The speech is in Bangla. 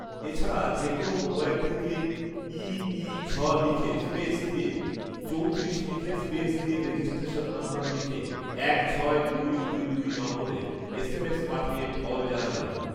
এছাড়া যেকোনো মোবাইল থেকে ইঈঝ লিখে স্পেস দিয়ে চৌতিরিশ লিখে স্পেস দিয়ে রেজিস্ট্রেশন নম্বর লিখে এক ছয় দুই দুই দুই নম্বরে এসএমএস পাঠিয়ে ফল জানা যাবে